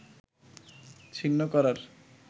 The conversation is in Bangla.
ছিন্ন করার